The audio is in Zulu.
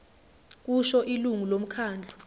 kusho ilungu lomkhandlu